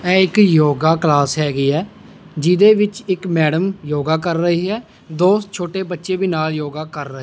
ਇਹ ਇੱਕ ਯੋਗਾ ਕਲਾਸ ਹੈਗੀ ਹੈ ਜਿਹਦੇ ਵਿੱਚ ਇੱਕ ਮੈਡਮ ਯੋਗਾ ਕਰ ਰਹੀ ਹੈ ਦੋ ਛੋਟੇ ਬੱਚੇ ਵੀ ਨਾਲ ਯੋਗਾ ਕਰ ਰਹੇ --